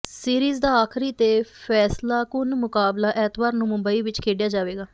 series ਦਾ ਆਖ਼ਰੀ ਤੇ ਫ਼ੈਸਲਾਕੁੰਨ ਮੁਕਾਬਲਾ ਐਤਵਾਰ ਨੂੰ ਮੁੰਬਈ ਵਿਚ ਖੇਡਿਆ ਜਾਵੇਗਾ